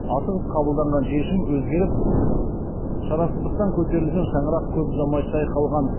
асығыс қабылданған шешім өзгеріп шарасыздықтан көтерілген шаңырақ көп ұзамай шайқалған